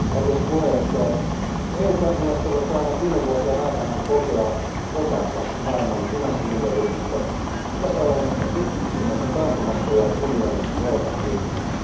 Arvoisa puhemies, EU kansalaiset ovat saaneet viime vuosien aikana kokea osansa maailman finanssimyllerryksestä, sitä seuranneesta pitkittyneestä taantumasta ja unionin velkakriisistä.